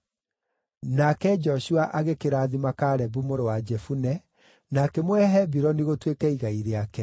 Nake Joshua agĩkĩrathima Kalebu mũrũ wa Jefune, na akĩmũhe Hebironi gũtuĩke igai rĩake.